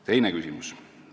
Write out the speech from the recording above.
Teine küsimuste plokk.